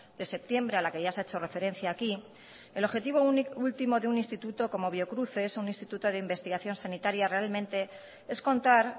de septiembre a la que ya se ha hecho referencia aquí el objetivo último de un instituto como biocruces un instituto de investigación sanitaria realmente es contar